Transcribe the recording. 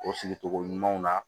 O sigi togo ɲumanw na